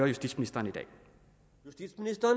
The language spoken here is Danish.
justitsministeren